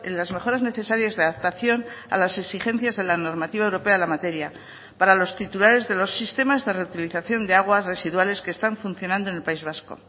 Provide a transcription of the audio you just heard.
las mejoras necesarias de adaptación a las exigencias de la normativa europea de la materia para los titulares de los sistemas de reutilización de aguas residuales que están funcionando en el país vasco